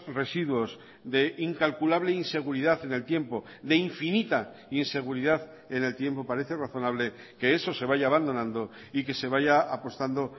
residuos de incalculable inseguridad en el tiempo de infinita inseguridad en el tiempo parece razonable que eso se vaya abandonando y que se vaya apostando